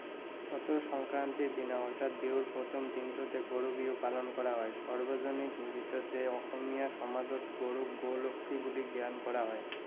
চতৰ সংক্ৰান্তিৰ দিনা অৰ্থাৎ বিহুৰ প্ৰথম দিনটোতে গৰু বিহু পালন কৰা হয়। সাৰ্বজনীন নিমিত্ততে অসমীয়া সমাজত গৰু গোলক্ষী বুলি জ্ঞান কৰা হয়।